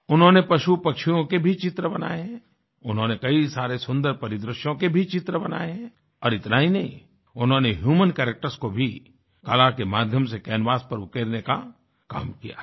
उन्होंने पशु पक्षियों के भी चित्र बनाए हैं उन्होंने कई सारे सुंदर परिदृश्यों के भी चित्र बनाए हैं और इतना ही नहीं उन्होंने ह्यूमन कैरेक्टर्स को भी कला के माध्यम से कैनवास पर उकेरने का काम किया है